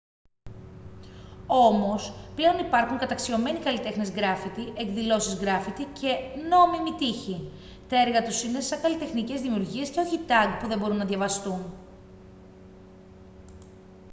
όμως πλέον υπάρχουν καταξιωμένοι καλλιτέχνες γκράφιτι εκδηλώσεις γκράφιτι και «νόμιμοι» τοίχοι. τα έργα τους είναι σαν καλλιτεχνικές δημιουργίες και όχι tag που δεν μπορούν να διαβαστούν